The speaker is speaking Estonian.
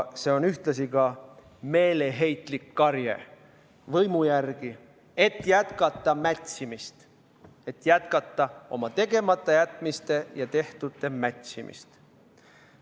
See on ühtlasi meeleheitlik karje võimu järele, et jätkata mätsimist, et jätkata oma tegematajätmiste ja tehtu mätsimist.